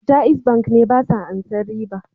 Jaiz Bank ne basa ansan riba.